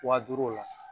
Wa duuru la